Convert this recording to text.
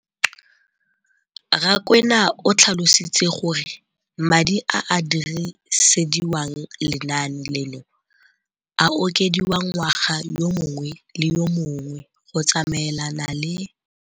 Rakwena o tlhalositse gore madi a a dirisediwang lenaane leno a okediwa ngwaga yo mongwe le yo mongwe go tsamaelana le